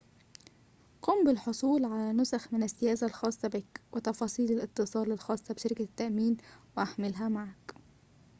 قم بالحصول على نسخٍ من السياسة الخاصة بك وتفاصيل الاتصال الخاصة بشركة التأمين واحملها معك